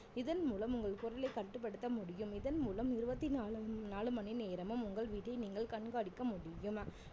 இதன் மூலம் உங்கள் குரலை கட்டுப்படுத்த முடியும் இதன் மூலம் இருவத்தி நாலு~ நாலு மணி நேரமும் உங்கள் வீட்டை நீங்கள் கண்காணிக்க முடியும்